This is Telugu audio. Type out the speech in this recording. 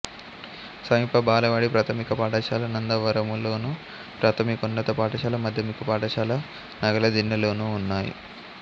సమీప బాలబడి ప్రాథమిక పాఠశాల నందవరములోను ప్రాథమికోన్నత పాఠశాల మాధ్యమిక పాఠశాల నగలదిన్నెలోనూ ఉన్నాయి